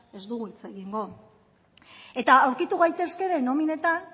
ez dugu hitz egingo eta aurkitu gaitezke ere nominetan